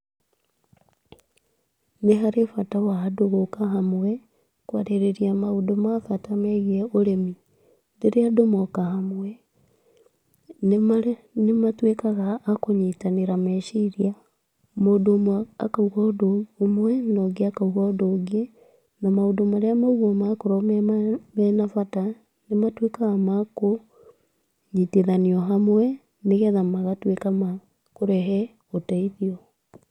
Nĩ harĩ bata wa andũ gũka hamwe, kwarĩrĩa maũndũ ma bata megiĩ ũrĩmi, rĩrĩa andũ moka hamwe, nĩmatuĩkaga akũnyitanĩra meciria, mũndũ ũmwe akauga ũndũ ũmwe na ũngĩ akauga ũndũ ũngĩ, na maũndũ marĩa maugwo makorwo me ma mena bata, nĩmatuĩkaga makũnyitithanio hamwe, nĩgetha magatuĩka makũrehe ũteithio.